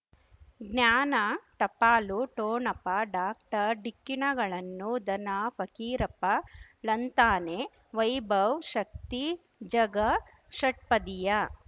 ಜ್ಞಾನ ಟಪಾಲು ಠೊಣಪ ಡಾಕ್ಟರ್ ಢಿಕ್ಕಿ ಣಗಳನು ಧನ ಫಕೀರಪ್ಪ ಳಂತಾನೆ ವೈಭವ್ ಶಕ್ತಿ ಝಗಾ ಷಟ್ಪದಿಯ